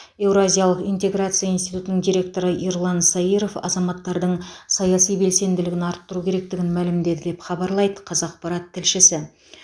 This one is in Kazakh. еуразиялық интеграция институтының директоры ерлан саиров азаматтардың саяси белсенділігін арттыру керектігін мәлімдеді деп хабарлайды қазақпарат тілшісі